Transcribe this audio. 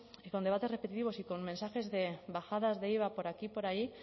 y con debates repetitivos y con mensajes de bajadas de iva por aquí por ahí